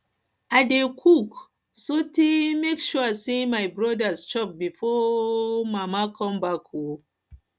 i dey cook um make sure sey my brodas chop befor my um mama um mama come back um